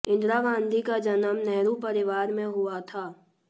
इंदिरा गांधी का जन्म नेहरू परिवार में हुआ था